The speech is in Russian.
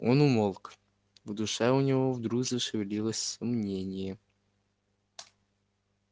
он умолк в душе у него вдруг зашевелилось сомнение